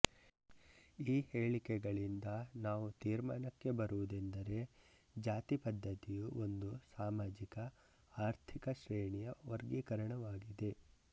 ಈ ಹೇಳಿಕೆಗಳಿಂದ ನಾವು ತೀರ್ಮಾನಕ್ಕೆ ಬರುವುದೆಂದರೆ ಜಾತಿ ಪದ್ದತಿಯು ಒಂದು ಸಾಮಾಜಿಕಆರ್ಥಿಕ ಶ್ರೇಣಿಯ ವರ್ಗೀಕರಣವಾಗಿದೆ